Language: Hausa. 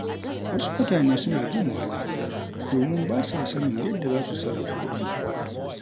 Wasu mutane suna jin wahala domin ba sa sanin yadda za su sarrafa kuɗinsu.